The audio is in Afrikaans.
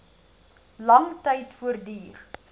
lang tyd voortduur